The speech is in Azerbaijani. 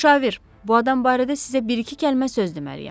Müşavir, bu adam barədə sizə bir-iki kəlmə söz deməliyəm.